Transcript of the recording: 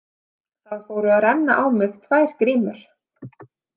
Það fóru að renna á mig tvær grímur.